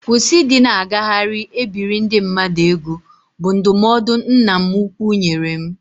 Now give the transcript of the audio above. Kwụsị ịdị na-agagharị e biri ndị mmadụ ego, bụ ndụmọdụ nna m ukwu nyere m